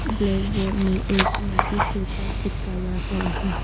Black board में एक notice paper चिपकाया हुआ है।